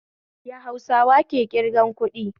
Ya Hausawa ke kirgan kuɗi?